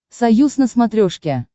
союз на смотрешке